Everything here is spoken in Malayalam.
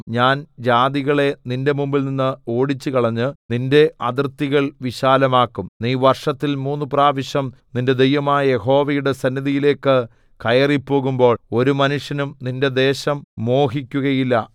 ഞാൻ ജാതികളെ നിന്റെ മുമ്പിൽനിന്ന് ഓടിച്ചുകളഞ്ഞ് നിന്റെ അതിർത്തികൾ വിശാലമാക്കും നീ വർഷത്തിൽ മൂന്ന് പ്രാവശ്യം നിന്റെ ദൈവമായ യഹോവയുടെ സന്നിധിയിലേക്ക് കയറിപ്പോകുമ്പോൾ ഒരു മനുഷ്യനും നിന്റെ ദേശം മോഹികക്കുകയില്ല